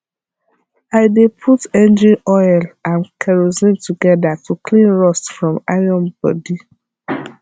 i dey put engine oil and kerosine together to clean rust from iron body